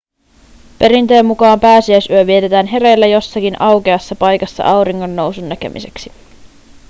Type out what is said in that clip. perinteen mukaan pääsiäisyö vietetään hereillä jossakin aukeassa paikassa auringonnousun näkemiseksi